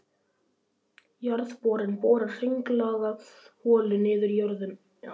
Jarðborinn borar hringlaga holu niður í jörðina.